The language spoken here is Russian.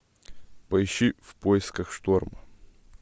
поищи в поисках шторма